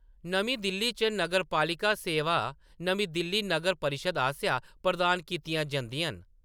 नमीं दिल्ली च नगरपालिका सेवां नमीं दिल्ली नगर परिशद् आसेआ प्रदान कीतियां जंदियां न।